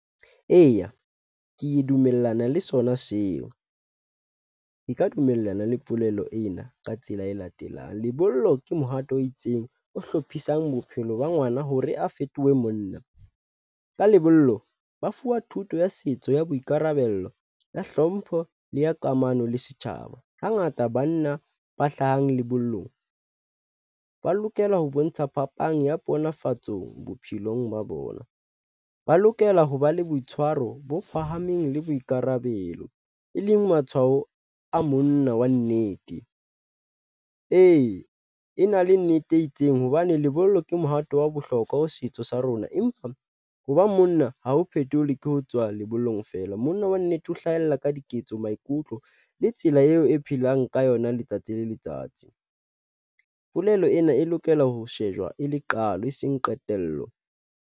Eya, ke dumellana le sona seo e ka dumellana le polelo ena ka tsela e latelang. Lebollo ke mohato o itseng o hlophisang bophelo ba ngwana hore a fetohe monna ka lebollo. Ba fuwa thuto ya setso ya boikarabello ya hlompho le ya kamano le setjhaba. Hangata banna ba hlahang lebollong ba lokela ho bontsha phapang ya ponafatsong bophelong ba bona, ba lokela ho ba le boitshwaro bo phahameng le boikarabelo e leng matshwao a monna wa nnete. Ee, e na le nnete e itseng hobane lebollo ke mohato wa bohlokwa ho setso sa rona, empa ho ba monna ha ho phethola ke ho tswa lebollong feela monna wa nnete. Ho hlahella ka diketso, maikutlo le tsela eo e phelang ka yona letsatsi le letsatsi. Polelo ena e lokela ho shejwa e le qalo e seng qetello.